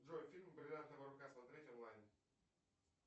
джой фильм бриллиантовая рука смотреть онлайн